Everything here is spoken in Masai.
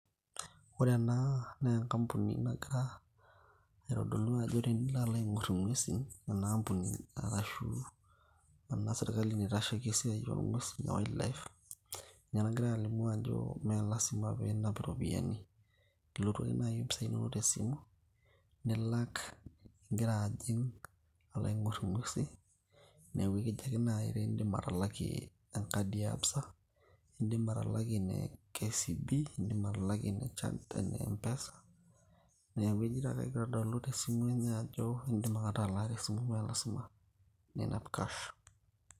ore ena naa enkampuni nagira aitodolu ajo tenilo alo aing'orr ing'uesin ena ampuni arashu ena sirkali naitasheki esiai oong'uesi e wildlife ninye nagira alimu ajo meelasima piinap iropiyiani ilotu ake naaji ompisai inonok tesimu nilak ingira ajing alo aing'orr ing'uesi neeku ekincho ekejo ake naaji tiindim atalakie enkadi e ABSA indim atalakie ene KCB indim atalakie ene... e mpesa niaku ejito ake ekitadalu tesimu enye ajo indim ake atalaa tesimu meelasima ninap cash.